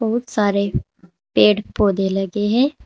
बहुत सारे पेड़ पौधे लगे हैं।